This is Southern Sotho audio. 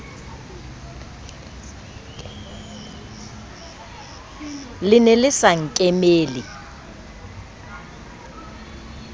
le ne le sa nkemele